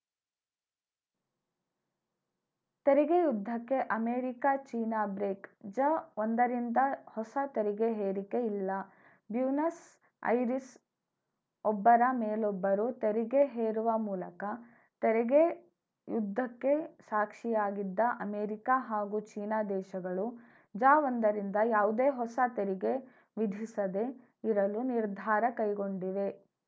ತೆರಿಗೆ ಯುದ್ಧಕ್ಕೆ America China break ಜಒಂದರಿಂದ ಹೊಸ ತೆರಿಗೆ ಹೇರಿಕೆ ಇಲ್ಲ ಬ್ಯೂನಸ್‌ ಐರಿಸ್‌ ಒಬ್ಬರ ಮೇಲೊಬ್ಬರು ತೆರಿಗೆ ಹೇರುವ ಮೂಲಕ ತೆರಿಗೆ ಯುದ್ಧಕ್ಕೆ ಸಾಕ್ಷಿಯಾಗಿದ್ದ ಅಮರಿಕ ಹಾಗೂ ಚೀನಾ ದೇಶಗಳು ಜಒಂದರಿಂದ ಯಾವುದೇ ಹೊಸ ತೆರಿಗೆ ವಿಧಿಸದೇ ಇರಲು ನಿರ್ಧಾರ ಕೈಗೊಂಡಿವೆ